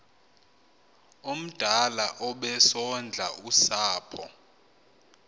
omdala obesondla usapho